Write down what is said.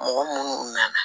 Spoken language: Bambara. Mɔgɔ munnu nana